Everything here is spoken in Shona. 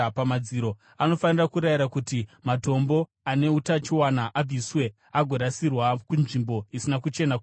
anofanira kurayira kuti matombo ane utachiona abviswe agorasirwa kunzvimbo isina kuchena kunze kweguta.